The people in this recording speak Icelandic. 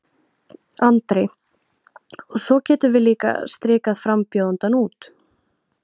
Andri: Og svo getum við líka strikað frambjóðandann út?